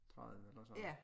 30 eller sådan noget